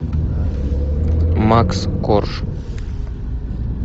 макс корж